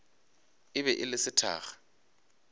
e be e le sethakga